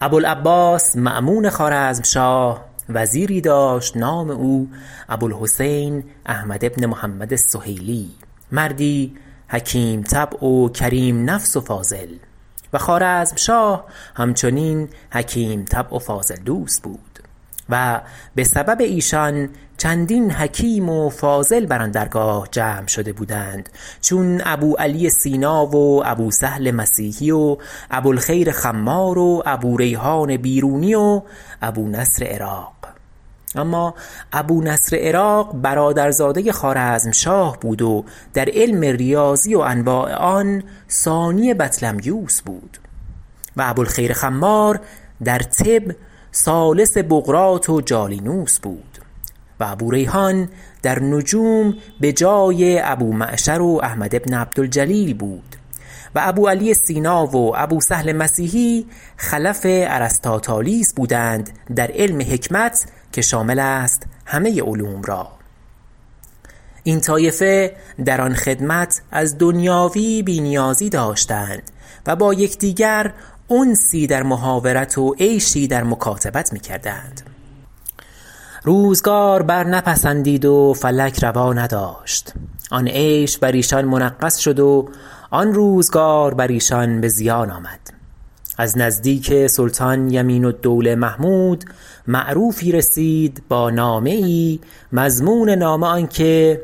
ابو العباس مأمون خوارزمشاه وزیری داشت نام او ابوالحسین احمد بن محمد السهیلی مردی حکیم طبع و کریم نفس و فاضل و خوارزمشاه همچنین حکیم طبع و فاضل دوست بود و به سبب ایشان چندین حکیم و فاضل بر آن درگاه جمع شده بودند چون ابوعلی سینا و ابوسهل مسیحی و ابوالخیر خمار و ابوریحان بیرونی و ابونصر عراق اما ابونصر عراق برادرزاده خوارزمشاه بود و در علم ریاضی و انواع آن ثانی بطلمیوس بود و ابوالخیر خمار در طب ثالث بقراط و جالینوس بود و ابوریحان در نجوم به جای ابومعشر و احمد بن عبدالجلیل بود و ابوعلی سینا و ابوسهل مسیحی خلف ارسطاطالیس بودند در علم حکمت که شامل است همه علوم را این طایفه در آن خدمت از دنیاوی بی نیازی داشتند و با یکدیگر انسی در محاورت و عیشی در مکاتبت می کردند روزگار بر نپسندید و فلک روا نداشت آن عیش بر ایشان منغص شد و آن روزگار بر ایشان به زیان آمد از نزدیک سلطان یمین الدوله محمود معروفی رسید با نامه ای مضمون نامه آن که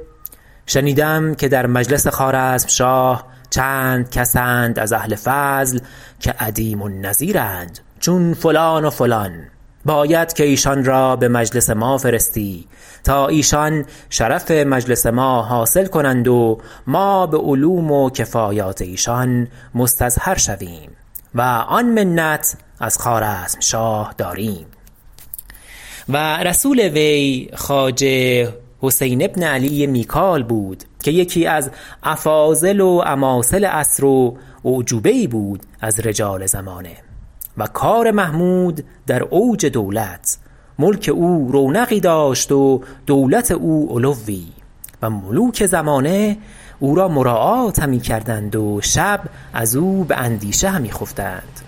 شنیدم که در مجلس خوارزمشاه چند کس اند از اهل فضل که عدیم النظیرند چون فلان و فلان باید که ایشان را به مجلس ما فرستی تا ایشان شرف مجلس ما حاصل کنند و ما به علوم و کفایات ایشان مستظهر شویم و آن منت از خوارزمشاه داریم و رسول وی خواجه حسین بن علی میکال بود که یکی از افاضل و اماثل عصر و اعجوبه ای بود از رجال زمانه و کار محمود در اوج دولت ملک او رونقی داشت و دولت او علوی و ملوک زمانه او را مراعات همی کردند و شب از او باندیشه همی خفتند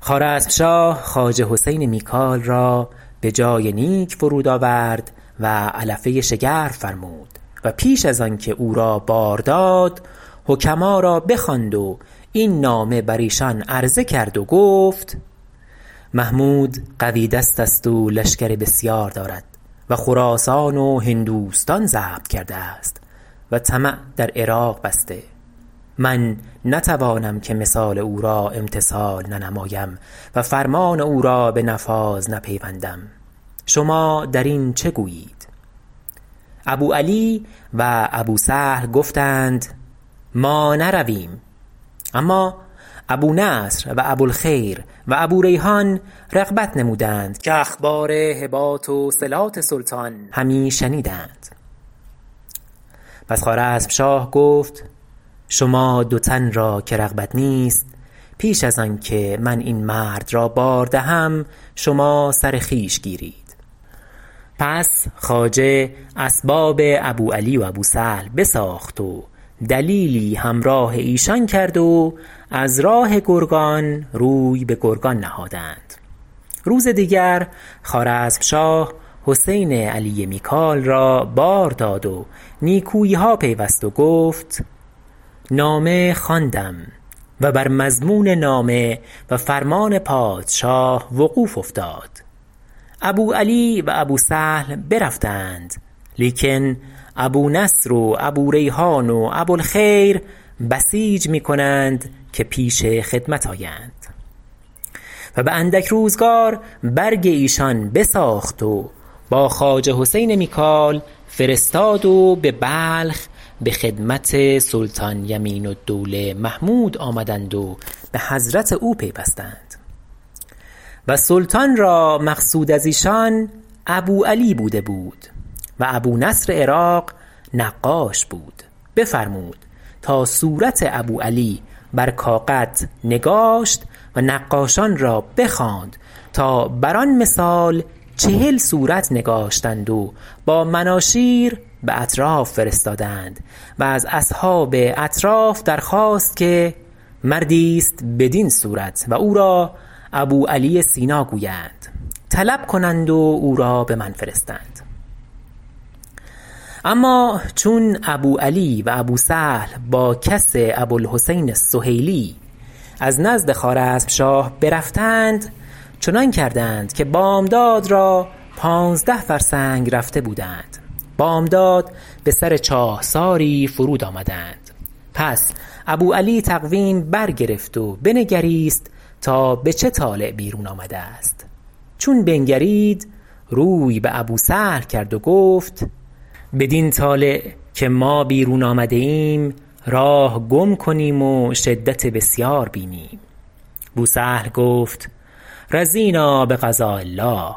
خوارزمشاه خواجه حسین میکال را به جای نیک فرود آورد و علفه شگرف فرمود و پیش از آنکه او را بار داد حکما را بخواند و این نامه بر ایشان عرضه کرد و گفت محمود قوی دست است و لشکر بسیار دارد و خراسان و هندوستان ضبط کرده است و طمع در عراق بسته من نتوانم که مثال او را امتثال ننمایم و فرمان او را به نفاذ نپیوندم شما در این چه گویید ابوعلی و ابوسهل گفتند ما نرویم اما ابونصر و ابوالخیر و ابوریحان رغبت نمودند که اخبار صلات و هبات سلطان همی شنیدند پس خوارزمشاه گفت شما دو تن را که رغبت نیست پیش از آن که من این مرد را بار دهم شما سر خویش گیرید پس خواجه اسباب ابوعلی و ابوسهل بساخت و دلیلی همراه ایشان کرد و از راه گرگان روی به گرگان نهادند روز دیگر خوارزمشاه حسین علی میکال را بار داد و نیکویی ها پیوست و گفت نامه خواندم و بر مضمون نامه و فرمان پادشاه وقوف افتاد ابوعلی و ابوسهل برفته اند لیکن ابونصر و ابوریحان و ابوالخیر بسیج میکنند که پیش خدمت آیند و به اندک روزگار برگ ایشان بساخت و با خواجه حسین میکال فرستاد و به بلخ به خدمت سلطان یمین الدوله محمود آمدند و به حضرت او پیوستند و سلطان را مقصود از ایشان ابوعلى بوده بود و ابونصر عراق نقاش بود بفرمود تا صورت ابوعلى بر کاغد نگاشت و نقاشان را بخواند تا بر آن مثال چهل صورت نگاشتند و با مناشیر به اطراف فرستادند و از اصحاب اطراف در خواست که مردی است بدین صورت و او را ابوعلی سینا گویند طلب کنند و او را به من فرستند اما چون ابوعلی و ابوسهل با کس ابوالحسین السهیلی از نزد خوارزمشاه برفتند چنان کردند که بامداد را پانزده فرسنگ رفته بودند بامداد به سر چاهساری فرود آمدند پس ابوعلی تقویم بر گرفت و بنگریست تا به چه طالع بیرون آمده است چون بنگرید روی به ابوسهل کرد و گفت بدین طالع که ما بیرون آمده ایم راه گم کنیم و شدت بسیار بینیم بوسهل گفت رضینا بقضاء الله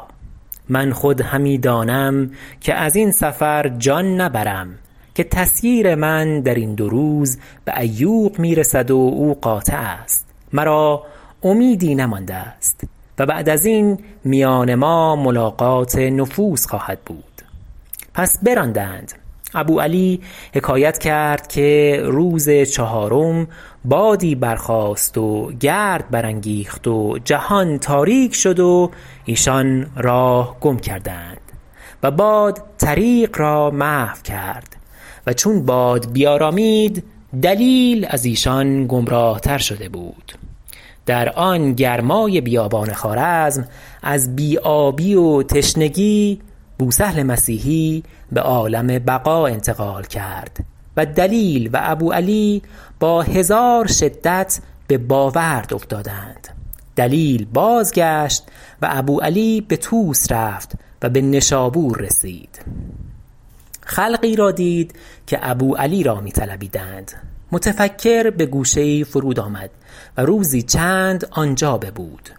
من خود همی دانم که از این سفر جان نبرم که تسییر من درین دو روز به عیوق میرسد و او قاطع است مرا امیدی نمانده است و بعد از این میان ما ملاقات نفوس خواهد بود پس براندند ابوعلی حکایت کرد که روز چهارم بادی بر خاست و گرد بر انگیخت و جهان تاریک شد و ایشان راه گم کردند و باد طریق را محو کرد و چون باد بیارامید دلیل از ایشان گمراه تر شده بود در آن گرمای بیابان خوارزم از بی آبی و تشنگی بوسهل مسیحی به عالم بقا انتقال کرد و دلیل و ابوعلى با هزار شدت به باورد افتادند دلیل بازگشت و ابوعلى به طوس رفت و به نشابور رسید خلقی را دید که ابوعلی را می طلبیدند متفکر بگوشه ای فرود آمد و روزی چند آنجا ببود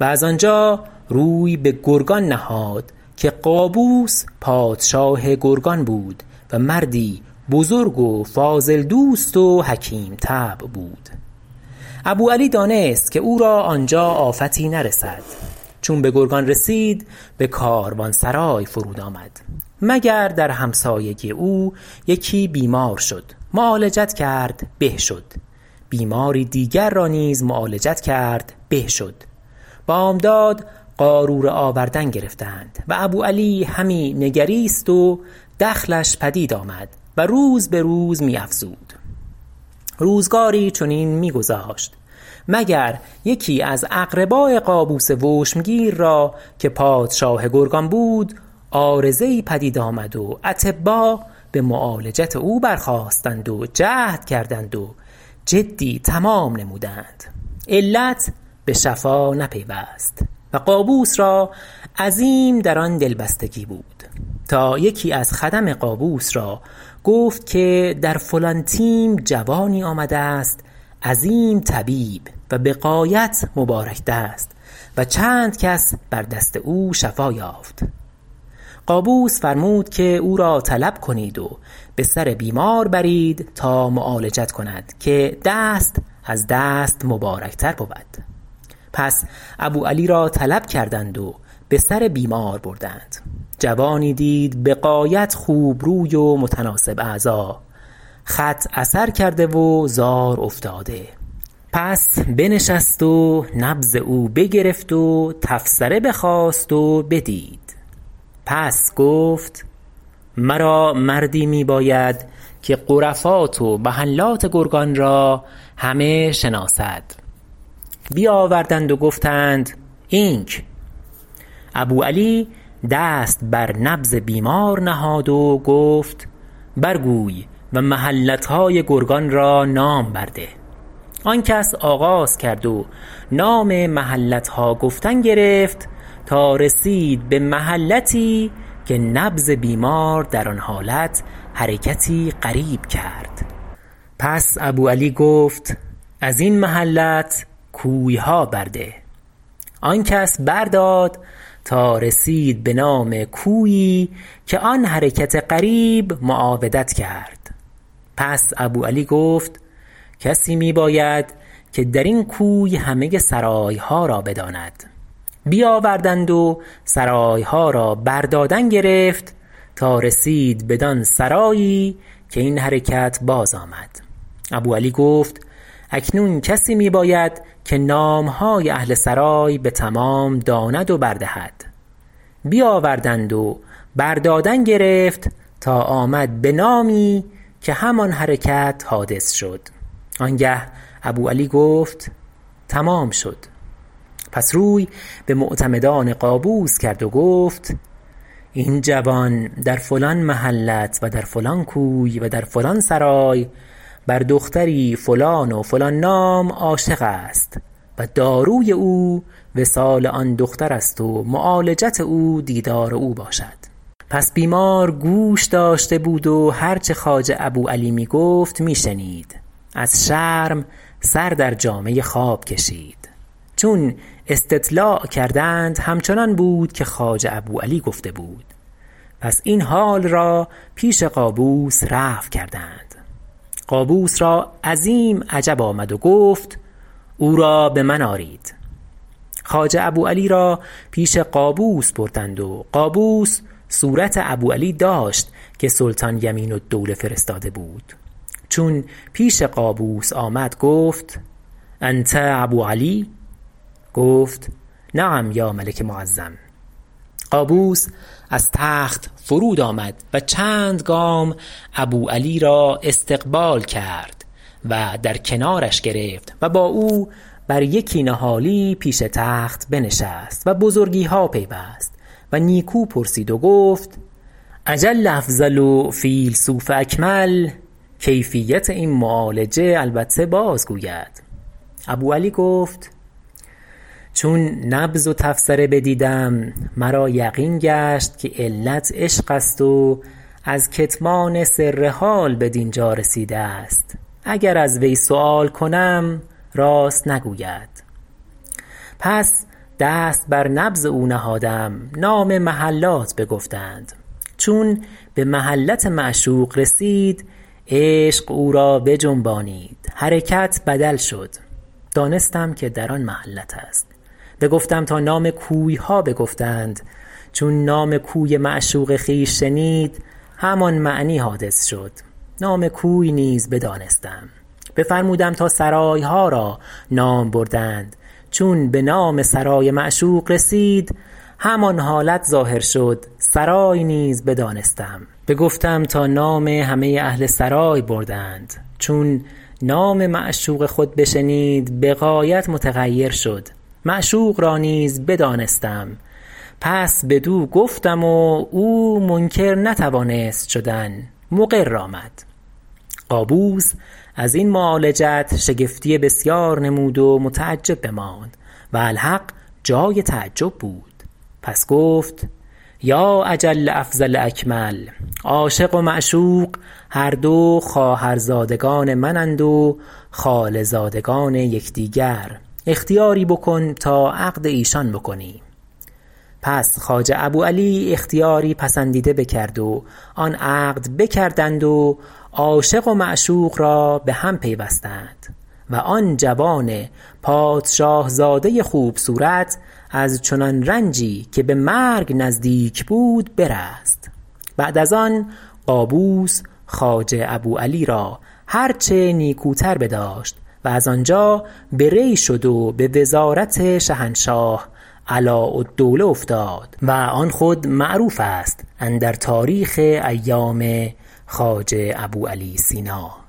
و از آنجا روی به گرگان نهاد که قابوس پادشاه گرگان بود و مردی بزرگ و فاضل دوست و حکیم طبع بود ابوعلی دانست که او را آنجا آفتی نرسد چون به گرگان رسید به کاروانسرای فرود آمد مگر در همسایگی او یکی بیمار شد معالجت کرد به شد بیماری دیگر را نیز معالجت کرد به شد بامداد قاروره آوردن گرفتند و ابوعلی همی نگریست و دخلش پدید آمد و روز به روز می افزود روزگاری چنین می گذاشت مگر یکی از اقرباء قابوس وشمگیر را که پادشاه گرگان بود عارضه ای پدید آمد و اطبا به معالجت او برخاستند و جهد کردند و جدی تمام نمودند علت به شفا نپیوست و قابوس را عظیم در آن دلبستگی بود تا یکی از خدم قابوس را گفت که در فلان تیم جوانی آمده است عظیم طبیب و به غایت مبارک دست و چند کس بر دست او شفا یافت قابوس فرمود که او را طلب کنید و بسر بیمار برید تا معالجت کند که دست از دست مبارک تر بود پس ابو علی را طلب کردند و به سر بیمار بردند جوانی دید به غایت خوبروی و متناسب اعضا خط اثر کرده و زار افتاده پس بنشست و نبض او بگرفت و تفسره بخواست و بدید پس گفت مرا مردی می باید که غرفات و محلات گرگان را همه شناسد بیاوردند و گفتند اینک ابوعلی دست بر نبض بیمار نهاد و گفت بر گوی و محلتهای گرگان را نام بر ده آن کس آغاز کرد و نام محلتها گفتن گرفت تا رسید به محلتی که نبض بیمار در آن حالت حرکتی غریب کرد پس ابوعلی گفت از این محلت کوی ها برده آن کس بر داد تا رسید به نام کویی که آن حرکت غریب معاودت کرد پس ابوعلی گفت کسی می باید که در این کوی همه سرایها را بداند بیاوردند و سرایها را بر دادن گرفت تا رسید بدان سرایی که این حرکت بازآمد ابوعلی گفت اکنون کسی می باید که نامهای اهل سرای به تمام داند و بر دهد بیاوردند و بر دادن گرفت تا آمد به نامی که همان حرکت حادث شد آنگه ابوعلی گفت تمام شد پس روی به معتمدان قابوس کرد و گفت این جوان در فلان محلت و در فلان کوی و در فلان سرای بر دختری فلان و فلان نام عاشق است و داروی او وصال آن دختر است و معالجت او دیدار او باشد پس بیمار گوش داشته بود و هر چه خواجه ابو علی می گفت می شنید از شرم سر در جامه خواب کشید چون استطلاع کردند همچنان بود که خواجه ابوعلی گفته بود پس این حال را پیش قابوس رفع کردند قابوس را عظیم عجب آمد و گفت او را به من آرید خواجه ابوعلی را پیش قابوس بردند و قابوس صورت ابوعلى داشت که سلطان یمین الدوله فرستاده بود چون پیش قابوس آمد گفت أنت ابوعلی گفت نعم یا ایها ال ملک المعظم قابوس از تخت فرود آمد و چند گام ابوعلی را استقبال کرد و در کنارش گرفت و با او بر یکی نهالی پیش تخت بنشست و بزرگیها پیوست و نیکو پرسید و گفت اجل افضل و فیلسوف اکمل کیفیت این معالجه البته باز گوید ابوعلی گفت چون نبض و تفسره بدیدم مرا یقین گشت که علت عشق است و از کتمان سر حال بدینجا رسیده است اگر از وی سؤال کنم راست نگوید پس دست بر نبض او نهادم نام محلات بگفتند چون به محلت معشوق رسید عشق او را بجنبانید حرکت بدل شد دانستم که در آن محلت است بگفتم تا نام کویها بگفتند چون نام کوی معشوق خویش شنید همان معنی حادث شد نام کوی نیز بدانستم بفرمودم تا سرایها را نام بردند چون به نام سرای معشوق رسید همان حالت ظاهر شد سرای نیز بدانستم بگفتم تا نام همه اهل سرای بردند چون نام معشوق خود بشنید به غایت متغیر شد معشوق را نیز بدانستم پس بدو گفتم و او منکر نتوانست شدن مقر آمد قابوس از این معالجت شگفتی بسیار نمود و متعجب بماند و الحق جای تعجب بود پس گفت یا اجل افضل اکمل عاشق و معشوق هر دو خواهرزادگان منند و خاله زادگان یکدیگر اختیاری بکن تا عقد ایشان بکنیم پس خواجه ابوعلی اختیاری پسندیده بکرد و آن عقد بکردند و عاشق و معشوق را به هم پیوستند و آن جوان پادشاه زاده خوب صورت از چنان رنجی که به مرگ نزدیک بود برست بعد از آن قابوس خواجه ابوعلی را هر چه نیکوتر بداشت و از آنجا به ری شد و به وزارت شهنشهاه علاءالدوله افتاد و آن خود معروف است اندر تاریخ ایام خواجه ابوعلی سینا